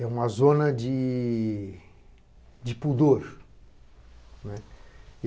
É uma zona de pudor.